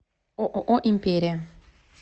ооо империя